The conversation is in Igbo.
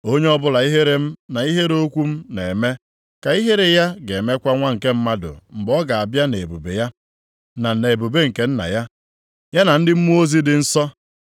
Onye ọbụla ihere m na ihere okwu m na-eme, ka ihere ya ga-emekwa Nwa nke Mmadụ mgbe ọ ga-abịa nʼebube ya, na nʼebube nke Nna ya, ya na ndị mmụọ ozi dị nsọ.